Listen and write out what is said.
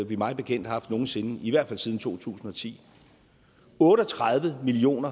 vi mig bekendt har haft nogen sinde i hvert fald siden 2010 otte og tredive million